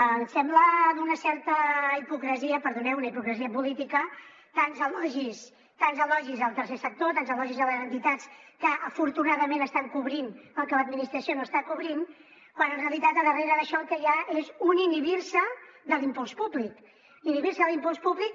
em sembla d’una certa hipocresia perdoneu hipocresia política tants elogis al tercer sector tants elogis a les entitats que afortunadament estan cobrint el que l’administració no està cobrint quan en realitat a darrere d’això el que hi ha és un inhibir se de l’impuls públic inhibir se de l’impuls públic